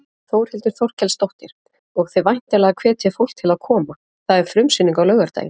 Þórhildur Þorkelsdóttir: Og þið væntanlega hvetjið fólk til koma, það er frumsýning á laugardaginn?